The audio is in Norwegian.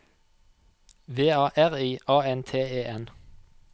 V A R I A N T E N